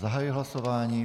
Zahajuji hlasování.